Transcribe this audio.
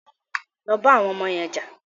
Lọ bá àwọn ọmọ yẹn jà!